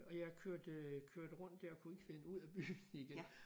Og jeg kørte kørte rundt dér kunne ikke finde ud af byen igen